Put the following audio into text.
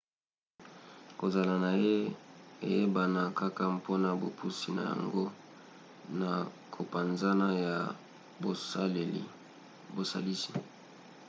kozala na ye eyebana kaka mpona bopusi na yango na kopanzana ya bozalisi